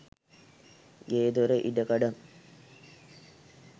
ගේදොර ඉඩකඩම්